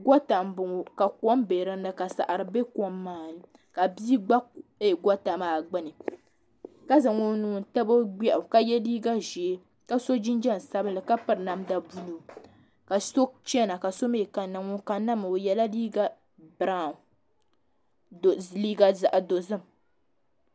Goota m boŋɔ ka kom be dinni ka saɣari ka di be kom maani la bia gba goota maa gbini ka zaŋ o nuu n tabi o gbeɣu ka ye liiga ʒee ka so jinjiɛm sabinli ka piri namda buluu ka so chena ka so mee kanna ŋun kanna maa o yela liiga zaɣa dozim.